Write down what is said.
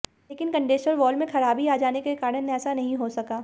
लेकिन condenser valve में खराबी आ जाने के कारण ऐसा नहीं हो सका